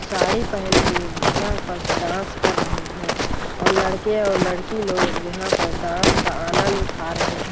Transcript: साड़ी पहन के यहाँ पास डांस कर रहे है और लड़के और लड़की लोग यहाँ पर डांस का आनंद उठा रहे हैं ।